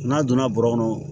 N'a donna bɔrɔ kɔnɔ